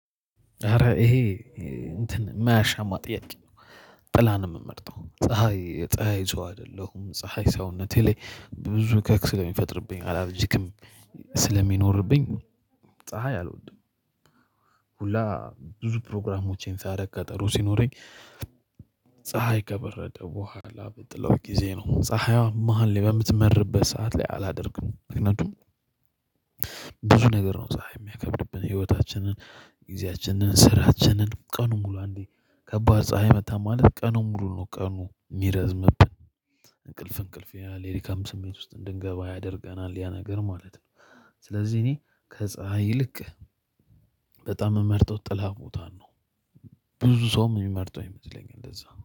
ኧረ ይሄ እንትን እማያሻማ ጥያቄ ነው። ጥላ ነው እምመርጠው ፀሀይ የፀሀይ ሰው አይደለሁም። ፀሀይ ሰውነቴ ላይ ብዙ እከክ ስለሚፈጥርብኝ አላርጂክም ስለሚኖርብኝ ፀሀይ አልወድም። ሁላ ብዙ ፕሮግራሞቼን ሳረግ ቀጠሮ ሲኖረኝ። ፀሀይ ከበረደ በኋላ በጥላው ጊዜ ነው ፀሀይዋ መሃል ላይ በምትመርበት ሰዓት ላይ አላደርግም። ምክንያቱም ብዙ ነገር ነው ፀሀይ እሚያከብድብን ህይወታችንን ጊዜያችንን ስራችንን ቀኑን ሙሉ አንዴ ከባድ ፀሀይ መታን ማለት ቀኑን ሙሉ ነው ቀኑን እሚረዝምብን። እንቅልፍ እንቅልፍ ያላል የድካም ስሜት ውስጥ እንድንገባ ያደርገናል ያ ነገር ማለት ነው። ስለዚህ እኔ ከፀሀይ ይልቅ በጣም እምመርጠው ጥላ ቦታ ነው። ብዙ ሰውም እሚመርጠው ይመስለኛል እንደዛ